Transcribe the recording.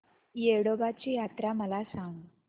येडोबाची यात्रा मला सांग